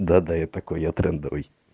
да да я такой я трендовый